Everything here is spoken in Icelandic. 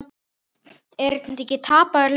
Er þetta ekki tapaður leikur?